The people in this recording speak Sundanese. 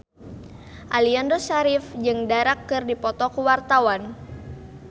Aliando Syarif jeung Dara keur dipoto ku wartawan